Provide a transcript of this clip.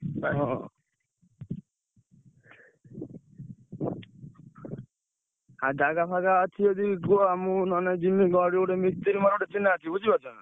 ହଁ ଆଉ ଜାଗା ଫାଗା ଅଛି ଯଦି କୁହ ମୁଁ ନହେଲେ ଯିମି ଗୋଟେ ମିସ୍ତ୍ରୀ ମୋର ଗୋଟେ ଚିହ୍ନା ଅଛି।